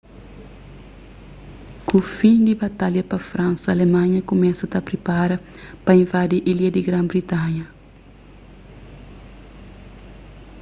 ku fin di batalha pa fransa alemanha kumesa ta pripara pa invadi ilha di gran-britanha